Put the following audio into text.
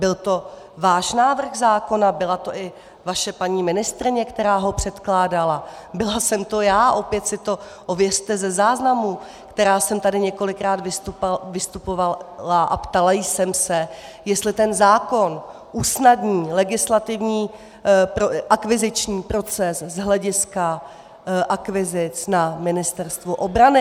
Byl to váš návrh zákona, byla to i vaše paní ministryně, která ho předkládala, byla jsem to já - opět si to ověřte ze záznamu - která jsem tady několikrát vystupovala a ptala jsem se, jestli ten zákon usnadní legislativní... akviziční proces z hlediska akvizic na Ministerstvu obrany.